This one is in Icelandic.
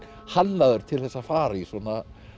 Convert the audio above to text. hannaður til þess að fara í svona